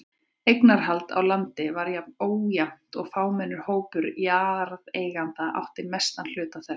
Eignarhald á landi var ójafnt og fámennur hópur jarðeigenda átti mestan hluta þess.